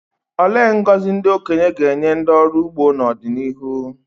Olee ngọzi ndị okenye ga-enye ndị ọrụ ugbo n’ọdịnihu?